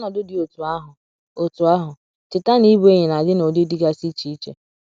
N’ọnọdụ dị otú ahụ, otú ahụ, cheta na ịbụ enyi na - adị n’ụdị dịgasị iche iche.